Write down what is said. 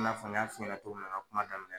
I n'a fɔ n y'a fɔ ɲɛnɛ cogo mina n ka kuma dminɛ